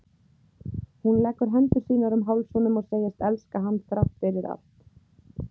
Hún leggur hendur sínar um háls honum og segist elska hann þrátt fyrir allt.